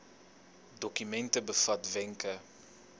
dokument bevat wenke